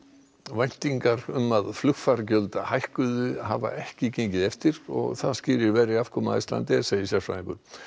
væntingar um að flugfargjöld hækkuðu hafa ekki gengið eftir og það skýrir verri afkomu Icelandair segir sérfræðingur